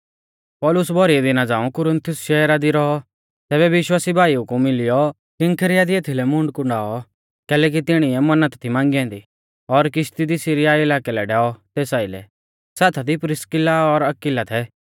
पौलुस भौरी दिना झ़ांऊ कुरिन्थुस शहरा दी रौऔ तैबै विश्वासी भाईऊ कु मिलियौ किंफ्रिया दी एथीलै मूंड कुंडाऔ कैलैकि तिणीऐ मन्नत थी मांगी ऐन्दी और किश्ती दी सीरिया इलाकै लै डैऔ तेस आइलै साथा दी प्रिस्किला और अक्विला थै